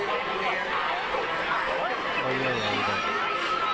hva gjør jeg idag